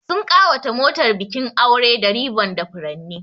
Sun ƙawata motar bikin aure da ribbon da furanni.